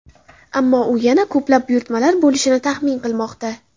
Ammo u yana ko‘plab buyurtmalar bo‘lishini taxmin qilmoqda.